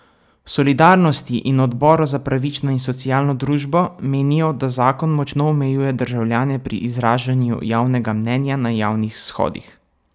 V Solidarnosti in Odboru za pravično in socialno družbo menijo, da zakon močno omejuje državljane pri izražanju javnega mnenja na javnih shodih.